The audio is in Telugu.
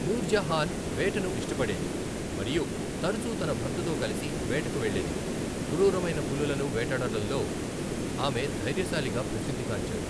నూర్జహాన్ వేటను ఇష్టపడేది మరియు తరచూ తన భర్తతో కలిసి వేటకు వెళ్ళేది, క్రూరమైన పులులను వేటాడటంలో ఆమె ధైర్యశాలిగా ప్రసిద్ధి గాంచారు.